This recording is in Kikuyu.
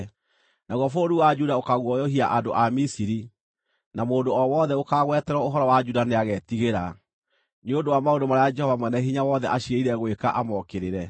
Naguo bũrũri wa Juda ũkaguoyohia andũ a Misiri; na mũndũ o wothe ũkaagweterwo ũhoro wa Juda nĩagetigĩra, nĩ ũndũ wa maũndũ marĩa Jehova Mwene-Hinya-Wothe aciirĩire gwĩka amokĩrĩre.